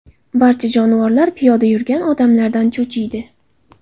Barcha jonivorlar piyoda yurgan odamlardan cho‘chiydi.